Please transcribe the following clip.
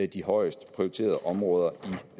de højest prioriterede områder